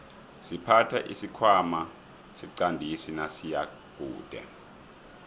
siphatha isikhwana siqandisi nasiyakude